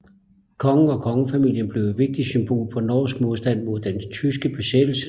Kongen og kongefamilien blev et vigtigt symbol på norsk modstand mod den tyske besættelsesmagt